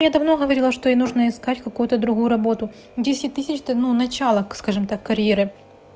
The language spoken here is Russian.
я давно говорила что ей нужно искать какую-то другую работу десять тысяч это ну начало скажем так карьеры